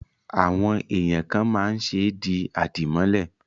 Àwọn èèyàn kàn máa ń ṣe di àdìmọ́lẹ̀